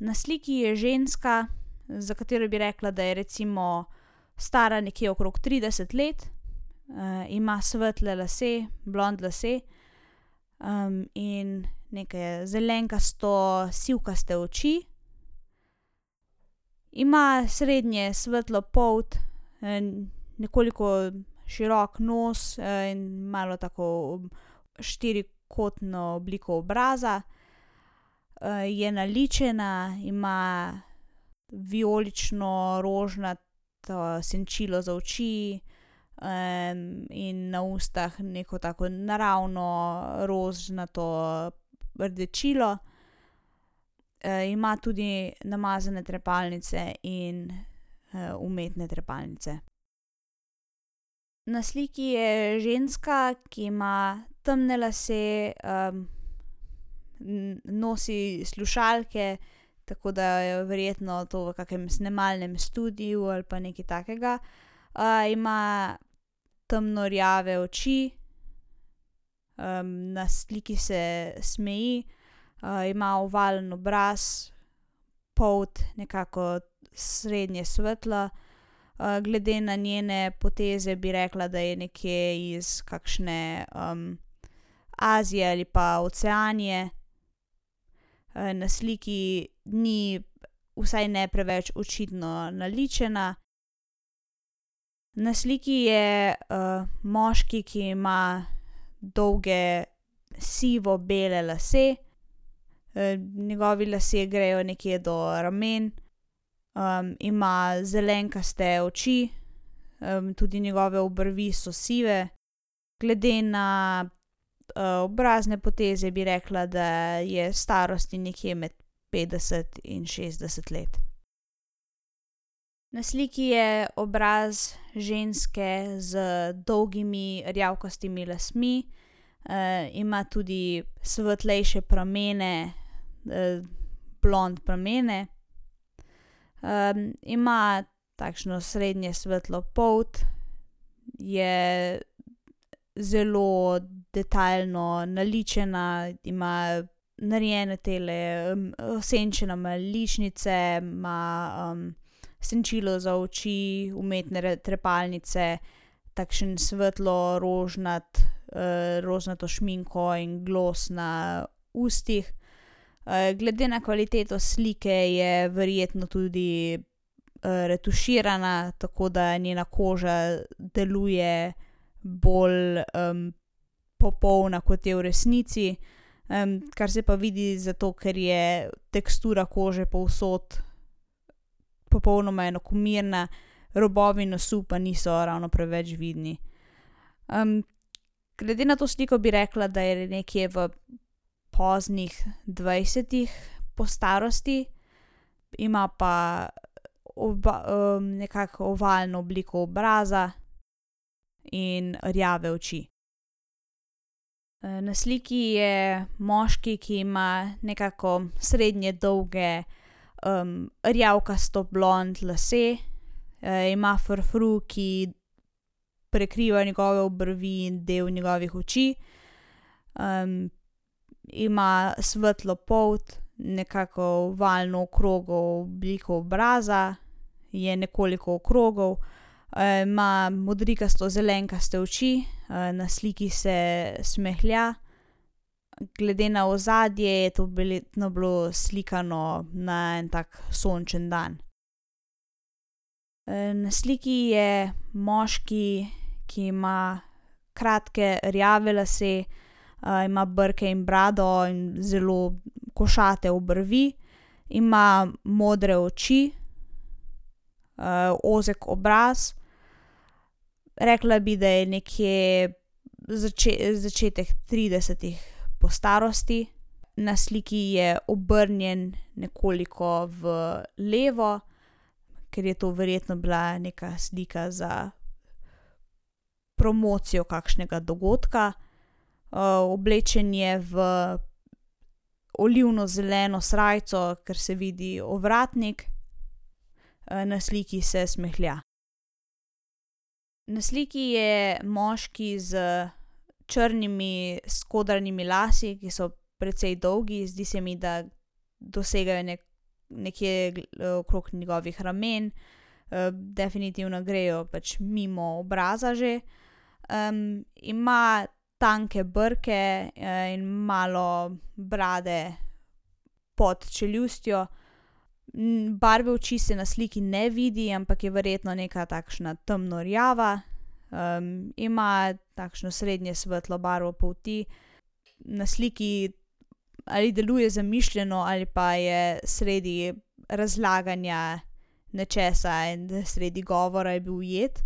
na sliki je ženska, za katero bi rekla, da je recimo stara nekje okrog trideset let. ima svetle lase, blond lase. in neke zelenkasto sivkaste oči. Ima srednje svetlo polt, nekoliko širok nos, in malo tako štirikotno obliko obraza. je naličena, ima vijolično rožnato senčilo za oči, in na ustih neko tako naravno rožnato rdečilo. ima tudi namazane trepalnice in, umetne trepalnice. Na sliki je ženska, ki ima temne lase, nosi slušalke, tako da jo verjetno to v kakem snemalnem studiu ali pa nekaj takega. ima temno rjave oči, na sliki se smeji, ima ovalen obraz, polt nekako srednje svetla. glede na njene poteze bi rekla, da je nekje iz kakšne Azije ali pa Oceanije. na sliki ni vsaj ne preveč očitno naličena. Na sliki je, moški, ki ima dolge sivo bele lase. njegovi lasje grejo nekje do rumeno. ima zelenkaste oči, tudi njegove obrvi so sive. Glede na, obrazne poteze bi rekla, da je starosti nekje med petdeset in šestdeset let. Na sliki je obraz ženske z dolgimi rjavkastimi lasmi. ima tudi svetlejše pramene, blond pramene. ima takšno srednje svetlo polt. Je zelo detajlno naličena, ima narejene tele, senčene ima ličnice ima, senčilo za oči, umetne trepalnice, takšen svetlo rožnat, rožnato šminko in glos na ustih. glede na kvaliteto slike je verjetno tudi, retuširana, tako da njena koža deluje bolj, popolna, kot je v resnici. kar se pa vidi, zato ker je tekstura kože povsod popolnoma enakomerna, robovi nosu pa niso ravno preveč vidni. glede na to sliko bi rekla, da je nekje v poznih dvajsetih po starosti. Ima pa nekako ovalno obliko obraza in rjave oči. na sliki je moški, ki ima nekako srednje dolge, rjavkasto blond lase. ima frufru, ki prekriva njegove obrvi in del njegovih oči. ima svetlo polt, nekako ovalno okrogel obliko obraza, je nekoliko okrogel, ima modrikasto zelenkaste oči, na sliki se smehlja. Glede na ozadje je to verjetno bilo slikano na en tak sončen dan. na sliki je moški, ki ima kratke rjave lase, ima brke in brado in zelo košate obrvi. Ima modre oči. ozek obraz. Rekla bi, da je nekje začetek tridesetih po starosti. Na sliki je obrnjen nekoliko v levo, ker je to verjetno bila neka slika za promocijo kakšnega dogodka. oblečen je v olivno zeleno srajco, ker se vidi ovratnik. na sliki se smehlja. Na sliki je moški s črnimi, skodranimi lasmi, ki so precej dolgi. Zdi se mi, da dosegajo nekje okrog njegovih ramen. definitivno grejo pač mimo obraza že, ima tanke brke, in malo brade pod čeljustjo. barve oči se na sliki ne vidi, ampak je verjetno neka takšna temno rjava, ima takšno srednje svetlo barvo polti. Na sliki ali deluje zamišljeno ali pa je sredi razlaganja nečesa in je sredi govora je bil ujet.